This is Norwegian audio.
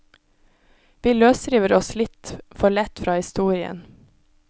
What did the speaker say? Vi løsriver oss litt for lett fra historien.